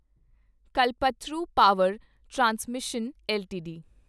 Kalpataru power transmission LTD